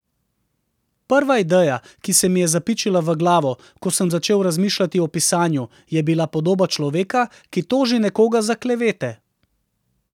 Prva ideja, ki se mi je zapičila v glavo, ko sem začel razmišljati o pisanju, je bila podoba človeka, ki toži nekoga za klevete.